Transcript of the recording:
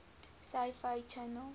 sci fi channel